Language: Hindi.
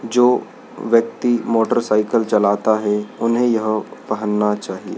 जो व्यक्ति मोटरसाइकिल चलाता है उन्हे यह पहनना चाहि--